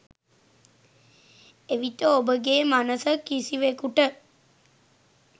එවිට ඔබගේ මනස කිසිවෙකුට